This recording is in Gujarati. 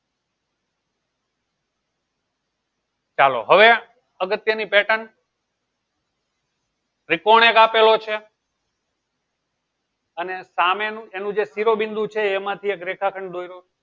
ચાલો હવે અગત્યની pattern ત્રિકોણ એક આપેલો છે અને સામેનું એનું જે શિરોબિંદુ છે એમાંથી એક રેખાખંડ દોર્યું